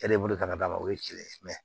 E de bolo ka d'a ma o ye kelen mɛ